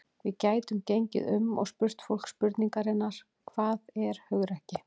Við gætum gengið um og spurt fólk spurningarinnar: Hvað er hugrekki?